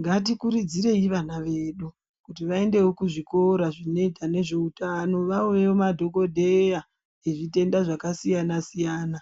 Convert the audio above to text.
Ngati kurudzirei vana vedu kuti vaendewo ku zvikora zvinoita nezve utano vawewo madhokodheya e zvitenda zvaka siyana siyana